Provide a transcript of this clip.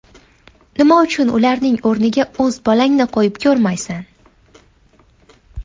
Nima uchun ularning o‘rniga o‘z bolangni qo‘yib ko‘rmaysan?